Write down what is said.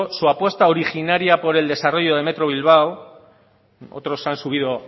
su apuesta originaria por el desarrollo de metro bilbao otros han subido